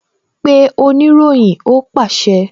Pe oniroyin! Ó pàṣẹ